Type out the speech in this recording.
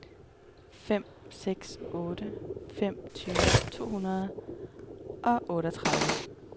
fem seks otte fem tyve to hundrede og otteogtredive